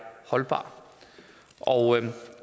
holdbar